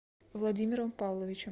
владимиром павловичем